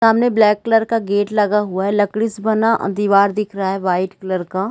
सामने black colour का gate लगा हुआ है लकड़ी से बना दिवार दिख रहा है वाइट कलर का।